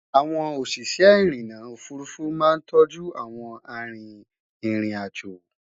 àwọn òṣìṣẹ́ irinna òfurufú má ń tóoju àwọn àrin ìrìn àjọ